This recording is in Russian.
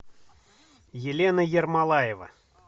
елена ермолаева